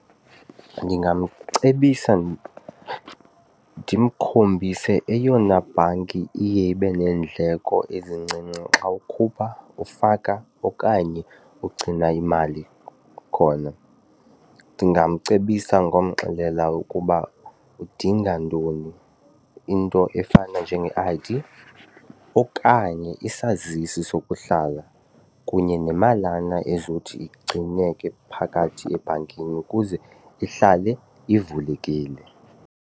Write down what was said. Ndingamcebisa ndimkhombise eyona bhanki iye ibe neendleko ezincinci xa ukhupha, ufaka okanye ugcina imali khona. Ndingamcebisa ngomxelela ukuba udinga ntoni into efana njenge-I_D okanye isazisi sokuhlala kunye nemalana ezothi igcineke phakathi ebhankini ukuze ihlale ivulekile.